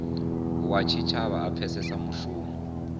wa tshitshavha a pfesese mushumo